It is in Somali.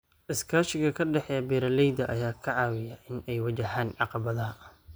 Iskaashiga ka dhexeeya beeralayda ayaa ka caawiya in ay wajahaan caqabadaha.